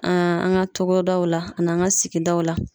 An an ka togodaw la, ani an ka sigidaw la.